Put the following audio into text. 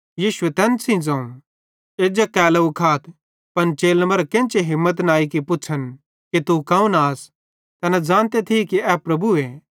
यीशुए तैन सेइं ज़ोवं एज्जा केलोव खाथ पन चेलन मरां केन्ची हिम्मत न अई कि पुछ़न कि तू कौन आस तैना ज़ानते थिये कि ए प्रभुए